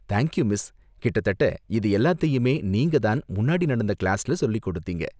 Thank you miss, கிட்டத்தட்ட இது எல்லாத்தையுமே நீங்க தான் முன்னாடி நடந்த கிளாஸ்ல சொல்லிக் கொடுத்தீங்க.